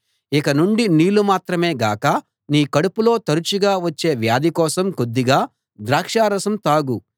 ఇక నుండి నీళ్ళు మాత్రమే గాక నీ కడుపులో తరచుగా వచ్చే వ్యాధి కోసం కొద్దిగా ద్రాక్షారసం తాగు